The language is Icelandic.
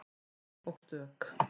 Ein og stök.